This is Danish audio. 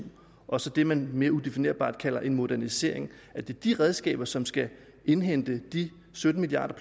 og så det man mere udefinerbart kalder en modernisering er det de redskaber som skal indhente de sytten milliard